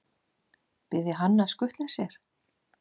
Biðja hann að skutla sér?